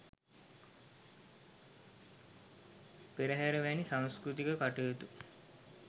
පෙරහර වැනි සංස්කෘතික කටයුතු